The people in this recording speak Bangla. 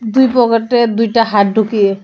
দুই পকেটে দুইটা হাত ঢুকিয়ে .